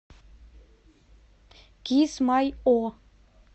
кисмайо